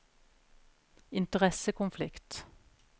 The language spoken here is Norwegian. interessekonflikt